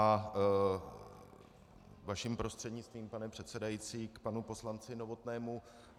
A vaším prostřednictvím, pane předsedající, k panu poslanci Novotnému.